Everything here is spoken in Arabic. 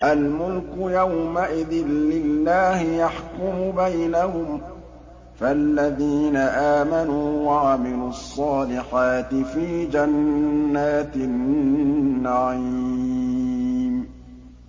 الْمُلْكُ يَوْمَئِذٍ لِّلَّهِ يَحْكُمُ بَيْنَهُمْ ۚ فَالَّذِينَ آمَنُوا وَعَمِلُوا الصَّالِحَاتِ فِي جَنَّاتِ النَّعِيمِ